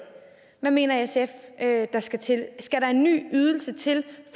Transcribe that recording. hvad mener sf at der skal til skal der en ny ydelse til